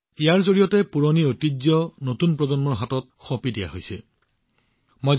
অৰ্থাৎ পুৰণি ঐতিহ্য নতুন প্ৰজন্মৰ হাতত সুৰক্ষিত হৈ আছে আৰু আগবাঢ়িছে